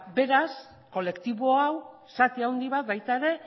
beraz kolektibo hau zati handi bat baita ere